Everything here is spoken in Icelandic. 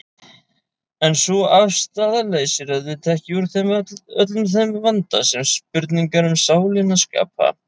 En sú afstaða leysir auðvitað ekki úr öllum þeim vanda sem spurningar um sálina skapa.